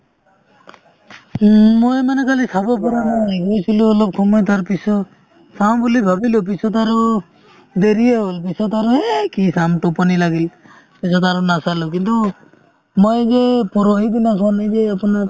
উম, মই মানে কালি চাব পৰা নাই গৈছিলো অলপ সময় তাৰপিছত চাওঁ বুলি ভাবিলো পিছত আৰু দেৰিয়েই হ'ল পিছত আৰু এই কি চাম টোপনি লাগিল তাৰপিছত আৰু নাচালো কিন্তু মই যে পৰহি দিনা চোৱা নাই এই যে আপোনাৰ